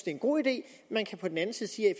en god idé man kan på den anden side sige at